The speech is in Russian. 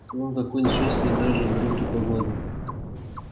вон какой несчастный даже брюки погладил